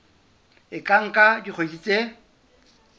e ka nka dikgwedi tse